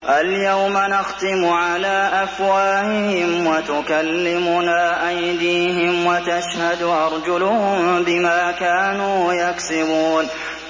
الْيَوْمَ نَخْتِمُ عَلَىٰ أَفْوَاهِهِمْ وَتُكَلِّمُنَا أَيْدِيهِمْ وَتَشْهَدُ أَرْجُلُهُم بِمَا كَانُوا يَكْسِبُونَ